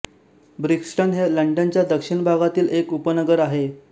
Brixton हे लंडनच्या दक्षिण भागातील एक उपनगर आहे